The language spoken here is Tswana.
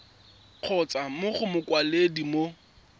kgotsa mo go mokwaledi mo